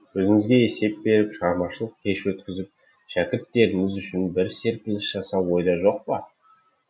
өзіңізге есеп беріп шығармашылық кеш өткізіп шәкірттеріңіз үшін бір серпіліс жасау ойда жоқ па